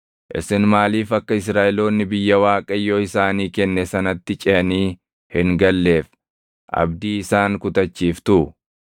Isin maaliif akka Israaʼeloonni biyya Waaqayyo isaanii kenne sanatti ceʼanii hin galleef abdii isaan kutachiiftuu?